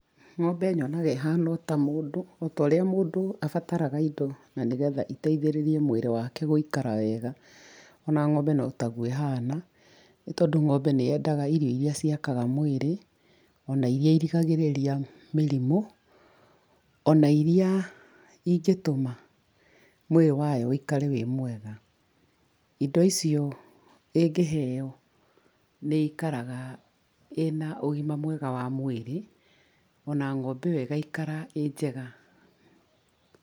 Ng'ombe nyonaga ĩhana ota mũndũ otorĩa mũndũ abatara indo na nĩ getha iteithĩrĩrie mwĩrĩ wake gũikara wega ona ng'ombe notaguo ĩhana nĩtondũ ng'ombe nĩendaga irio irĩa ciakaga mwĩrĩ ona irĩa irigarĩrĩria mĩrimũ ona iriaĩngĩtũma mwĩrĩ wayo ũikare wĩ mwega. Indo icio ĩngĩheo nĩĩkaragaĩ na ũgima mwega wa mwĩrĩ ona ng'ombe ĩyo ĩgaikara ĩjega.